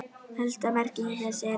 Helsta merking þess er